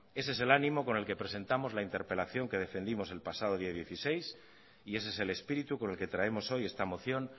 ese es el ánimo con el que presentamos la interpelación que defendimos el pasado día dieciséis y ese es el espíritu con el que traemos hoy esta moción